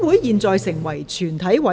現在成為全體委員會。